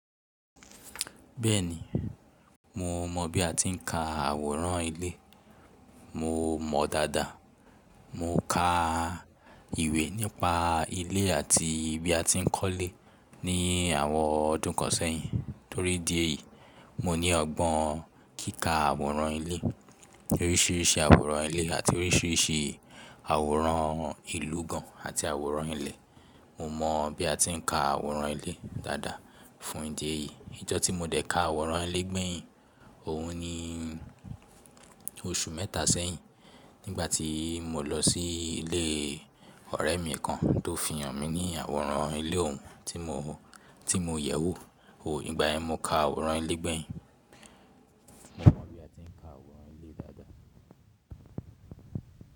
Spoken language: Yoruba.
Bẹ́ẹ̀ni, mo mọ bí a ti ń ka àwòrán ilé. Mo mọ dáadáa. Mo ka ìwé nípa ilé àti bí a ti ń kọ́lé ní àwọn ọdún kan sẹ́yìn. Torí dí èyí, mo ní ọgbọ́n kíkà àwòrán ilé, oríṣiríṣi àwòrán ilé àti oríṣiríṣi àwòrán ìlú gan àti àwòrán ilẹ̀. Mo mọ bí a ti ń ka àwòrán ilé dáadáa. Fún ìdí èyí, ijọ́ tí mo dẹ̀ ka àwòrán ilé gbẹ̀yìn, òun ni oṣù mẹ́ta sẹ́yìn, nígbà tí mo lọ sí ilé ọ̀rẹ́ mi kan tó fi hàn mí ní àwòrán ilé òun tí mo, tí mo yẹ̀ wò. Oò, ìgbà yẹn mo ka àwòrán ilé gbẹ̀yìn. Mo mọ bí a ti ń ka àwòrán ilé dáadáa.